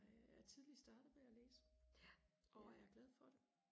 tidligt startet med og læse og er glad for det